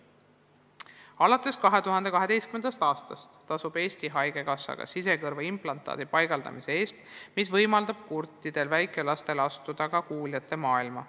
Alates 2012. aastast tasub Eesti Haigekassa ka sisekõrvaimplantaadi paigaldamise eest, mis võimaldab kurtidel väikelastel astuda kuuljate maailma.